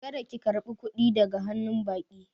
Kada ki karba kuɗi daga hannu baƙi